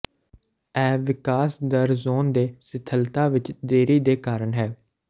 ਇਹ ਵਿਕਾਸ ਦਰ ਜ਼ੋਨ ਦੇ ਸਿਥਲਤਾ ਵਿੱਚ ਦੇਰੀ ਦੇ ਕਾਰਨ ਹੈ